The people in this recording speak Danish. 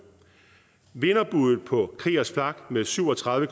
vinderbuddet på kriegers flak med syv og tredive